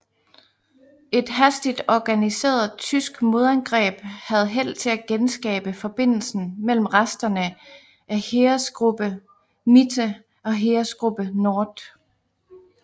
Et hastigt organiseret tysk modangreb havde held til at genskabe forbindelsen mellem resterne af Heeresgruppe MItte og Heeresgruppe Nord